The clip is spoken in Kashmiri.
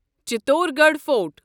چتورگڑھ فورٹ